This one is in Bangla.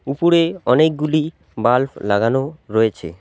উপরে অনেকগুলি বাল্প লাগানো রয়েছে।